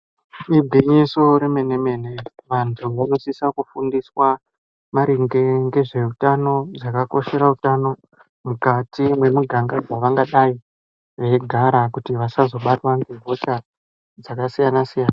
Igwinyiso remene mene antu anosisa kufundiswa maringe nezvehutano kukosherabutano mukati Mavangadai meigara kuti vasazobatwa hosha dzakasiyana siyana.